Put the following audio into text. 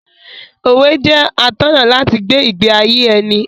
Òwe jẹ́ atọ́nà láti gbé ìgbé ayé ẹni.